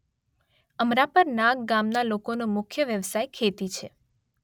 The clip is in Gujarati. અમરાપર નાગ ગામના લોકોનો મુખ્ય વ્યવસાય ખેતી છે.